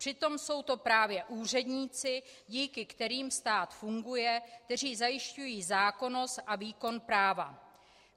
Přitom jsou to právě úředníci, díky kterým stát funguje, kteří zajišťují zákonnost a výkon práva.